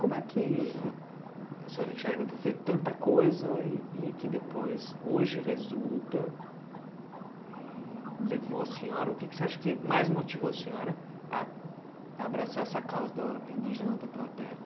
Como é que a senhora enxerga ter feito tanta coisa e que depois, hoje, resulta e levou a senhora... O que que você acha que mais motivou a senhora a abraçar essa causa da indígena luta pela terra?